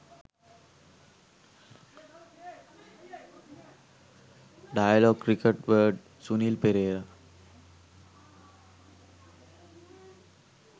dialog cricket word sunil perera